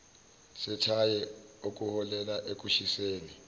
sethayi okuholela ekushiseni